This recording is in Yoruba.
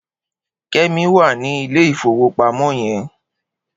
Kemi wà ni ilé ifówópámò yèn